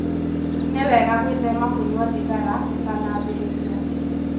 Nĩ wega gwĩthema kũnyua thigara ũtanambĩrĩria